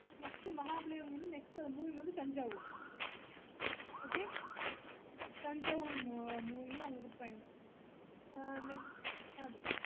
next Mahabalipuram வந்து next Thanjavur okaythanjavur moving உங்களுக்கு அது